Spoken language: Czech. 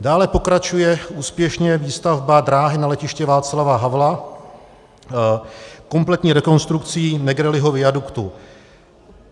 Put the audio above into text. Dále pokračuje úspěšně výstavba dráhy na letiště Václava Havla kompletní rekonstrukcí Negrelliho viaduktu.